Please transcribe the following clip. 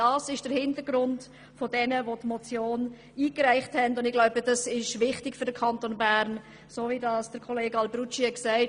Das ist der Hintergrund der Motionärinnen und Motionäre, und das ist für den Kanton Bern wichtig.